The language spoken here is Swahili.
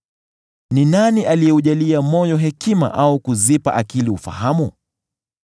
Ni nani aliyeujalia moyo hekima au kuzipa akili ufahamu?